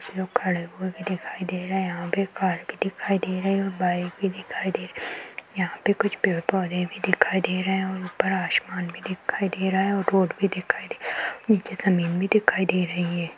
कुछ लोग खड़े हुऐ भी दिखाई दे रहे है यहां पे कार भी दिखाई दे रही है और बाइक भी दिखाई दे रही है यहाँ पे कुछ पेड़-पौधे भी दिखाई दे रहे है और ऊपर आसमान भी दिखाई दे रहा है और रोड भी दिखाई दे रहा है नीचे जमीन भी दिखाई दे रही है।